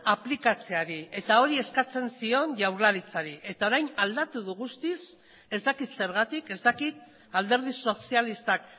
aplikatzeari eta hori eskatzen zion jaurlaritzari eta orain aldatu du guztiz ez dakit zergatik ez dakit alderdi sozialistak